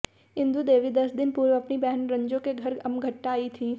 इंदू देवी दस दिन पूर्व अपनी बहन रंजू के घर अमघट्टा आई थी